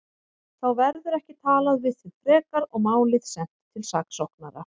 Þá verður ekki talað við þig frekar og málið sent til saksóknara.